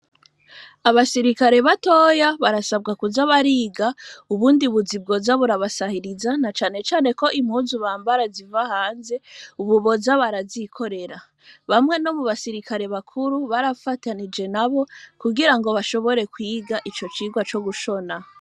Abasirikare batoya barasabwa kuza bariga ubundi buzaibwoza burabasahiriza na canecane ko impuzu bambara ziva hanze ububoza barazikorera bamwe no mu basirikare bakuru barafatanije na bo kugira ngo bashobore kwiga ico cirwa co gushona.